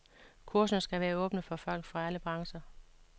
Kurserne skal være åbne for folk fra alle brancher.